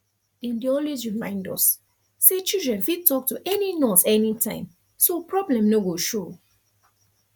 dem dey always remind us say children fit talk to any nurse anytime so problem no go show